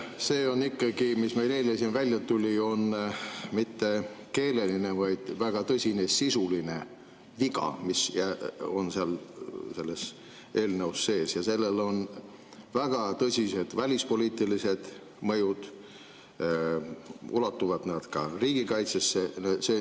See, mis meil eile siin välja tuli, on ikkagi mitte keeleline, vaid väga tõsine sisuline viga, mis on selles eelnõus sees, ja sellel on väga tõsised välispoliitilised mõjud, need ulatuvad ka riigikaitsesse.